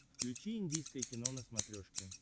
включи индийское кино на смотрешке